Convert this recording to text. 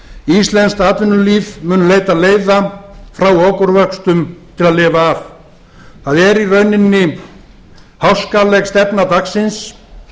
íslenskt atvinnulíf mun leita leiða frá okurvöxtum til að lifa af það er í rauninni háskaleg stefna dagsins